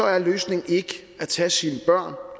er løsningen ikke at tage sine børn